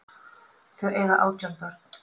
Þau eiga átján börn.